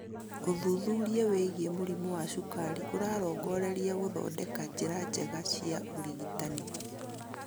Ũthuthuria wĩgiĩ mũrimũ wa cukari ũrarongoreria gũthondeka njĩra njega cia ũrigitani